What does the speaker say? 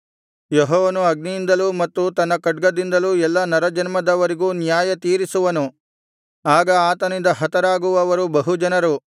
ಯೆಹೋವನು ಅಗ್ನಿಯಿಂದಲೂ ಮತ್ತು ತನ್ನ ಖಡ್ಗದಿಂದಲೂ ಎಲ್ಲಾ ನರಜನ್ಮದವರಿಗೂ ನ್ಯಾಯತೀರಿಸುವನು ಆಗ ಆತನಿಂದ ಹತರಾಗುವವರು ಬಹು ಜನರು